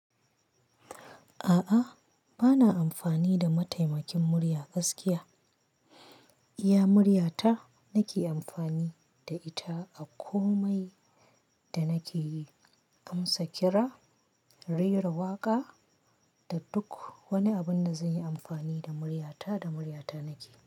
A'a, bana amfani da mataimakin murya gaskiya. Iya murya ta nake amfani da ita a komai da nake yi. Amsa kira, rera waƙa da duk wani abun da zan yi amfani da murya ta da murya ta nake.